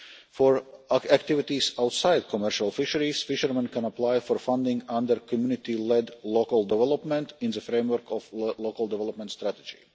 For activities outside commercial fisheries, fishermen can apply for funding under community led local development, in the framework of a local development strategy.